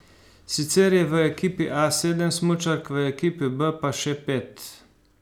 Sicer je v ekipi A sedem smučark, v ekipi B pa še pet.